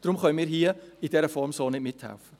Daher können wir hier in dieser Form nicht mithelfen.